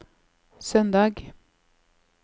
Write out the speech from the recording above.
søndag